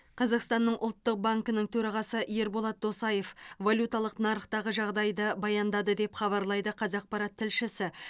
қазақстанның ұлттық банкінің төрағасы ерболат досаев валюталық нарықтағы жағдайды баяндады деп хабарлайды қазақпарат тілшісі